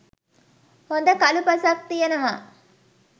හොඳ කළු පසක් තියෙනවා.